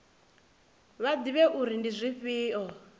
vha ḓivhe uri ndi dzifhio